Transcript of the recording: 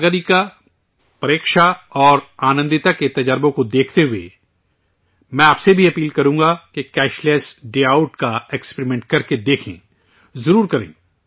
ساگریکا، پریکشا اور آنندتا کے تجربات کو دیکھتے ہوئے میں آپ سے بھی اپیل کروں گاکہ کیش لیس ڈے آؤٹ کا ایکسپیریمنٹ کرکے دیکھیں، ضرور کریں